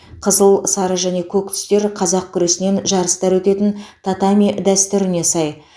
қызыл сары және көк түстер қазақ күресінен жарыстар өтетін татами дәстүріне сай